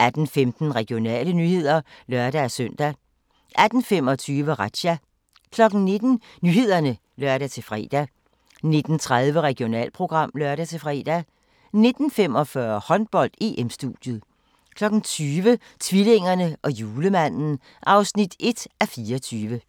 18:15: Regionale nyheder (lør-søn) 18:25: Razzia 19:00: Nyhederne (lør-fre) 19:30: Regionalprogram (lør-fre) 19:45: Håndbold: EM-studiet 20:00: Tvillingerne og Julemanden (1:24)